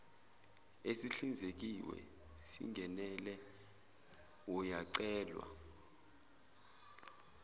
esihlinzekiwe singenele uyacelwa